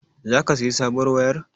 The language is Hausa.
Zaka sayi sabuwar wayar?